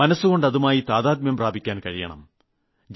മനസ്സുകൊണ്ട് അതുമായി താദാത്മ്യം പ്രാപിക്കാൻ കഴിയണം